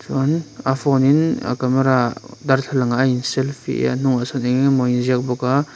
chuan a phone in a camera darthlalangah a in selfie a a hnungah sawn eng eng emawni a inziak bawk a.